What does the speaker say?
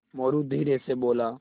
मोरू धीरे से बोला